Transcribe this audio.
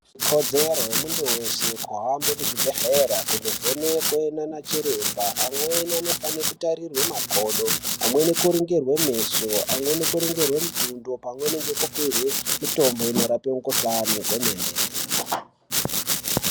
Ikodzero yemuntu wese ahambe kuzvibhedleya kunovenekwe nana chiremba, amweni vanofanire kutarirwe magodo, amweni kuringirwe meso, amweni kuringirwe mutundo pamweni ngekupiwe mitombo inorape mikuhlane gomene.